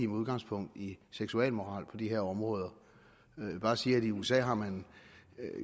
udgangspunkt i seksualmoral på de her områder jeg vil bare sige at i usa har man